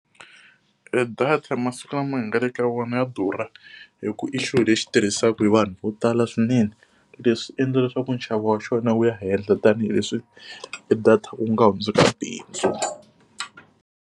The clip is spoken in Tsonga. E data masiku lama hi nga le ka wona ya durha hikuva i xilo lexi tirhisiwaka hi vanhu vo tala swinene. Leswi endla leswaku nxavo wa xona wu ya henhla tanihileswi data ku nga hundzuka bindzu.